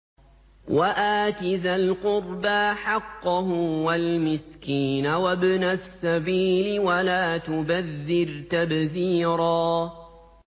وَآتِ ذَا الْقُرْبَىٰ حَقَّهُ وَالْمِسْكِينَ وَابْنَ السَّبِيلِ وَلَا تُبَذِّرْ تَبْذِيرًا